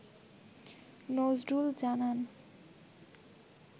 নজরুল জানান